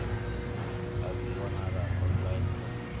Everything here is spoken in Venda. a dzi wanalei online kha